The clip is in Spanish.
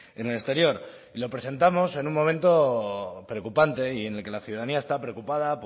en el exterior lo presentamos en un momento preocupante y en el que la ciudadanía está preocupada